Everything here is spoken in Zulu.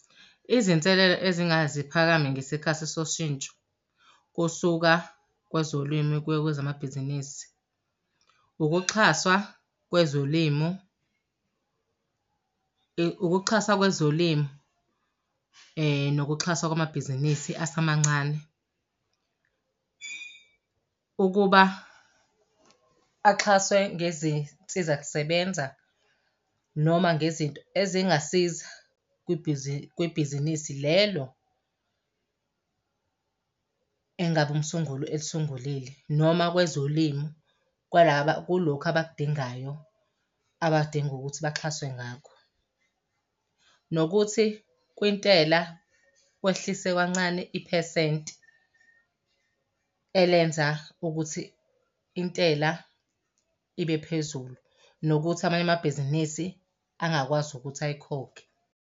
Izinselela ezingake ziphakame ngesikhathi soshintsho kusuka kwezolimo kuya kwezamabhizinisi, ukuxhaswa kwezolimo, ukuxhaswa kwezolimo, nokuxhaswa kwamabhizinisi asemancane. Ukuba axhaswe ngezinsizakusebenza noma ngezinto ezingasiza kwibhizinisi lelo, engabe umsunguli elisungulile. Noma kwezolimo kwalaba kulokhu abakudingayo abadinga ukuthi baxhaswe ngakho. Nokuthi kwintela kwehliswe kancane iphesenti elenza ukuthi intela ibe phezulu. Nokuthi amanye amabhizinisi angakwazi ukuthi ayikhokhe.